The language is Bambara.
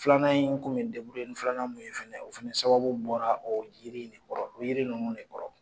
Filanan in n kun bɛ ni filanan mun ye fana, o fana sababu bɔra o yiri in de kɔrɔ. Yiri ninnu de kɔrɔ.